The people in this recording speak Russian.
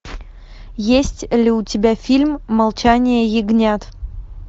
есть ли у тебя фильм молчание ягнят